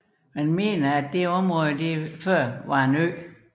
Det antages at området tidligere var en ø